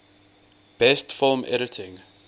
best film editing